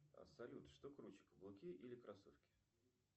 салют что круче каблуки или кроссовки